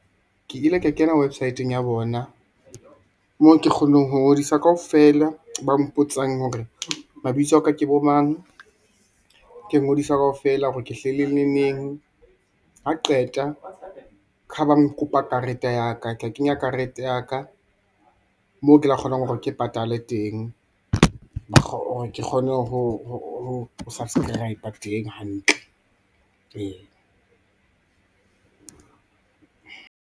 Ke ile ka kena websit-eng ya bona moo ke kgonang ho ngodisa kaofela, ba mpotsang hore mabitso a ka ke bo mang, ke ngodisa kaofela hore ke hlahile le neng. Ha qeta keha ba nkopa karete ya ka, ka ke kenya karete ya ka, moo kela kgonang hore ke patale teng, hore ke kgone ho subscriber teng hantle. Ee.